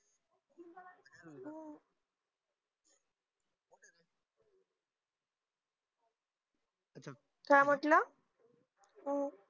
काय म्हंटल